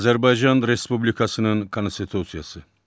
Azərbaycan Respublikasının Konstitusiyası.